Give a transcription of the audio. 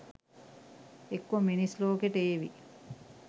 එක්කෝ මිනිස් ලෝකෙට ඒවි